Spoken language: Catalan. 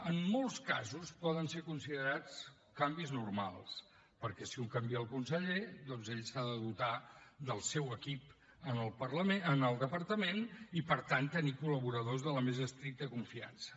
en molts casos poden ser considerats canvis normals perquè si un canvia el conseller doncs ell s’ha de dotar del seu equip en el departament i per tant tenir col·laboradors de la més estricta confiança